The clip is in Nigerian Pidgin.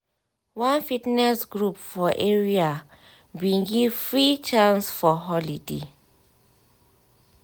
one fitness group for area bin give free chance for holiday